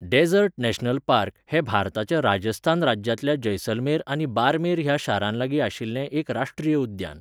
Desert national park' हें भारताच्या राजस्थान राज्यांतल्या जैसलमेर आनी बार्मेर ह्या शारांलागीं आशिल्लें एक राश्ट्रीय उद्यान.